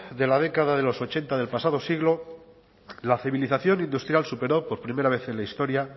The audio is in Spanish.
de la década de los ochenta del pasado siglo la civilización industrial superó por primera vez en la historia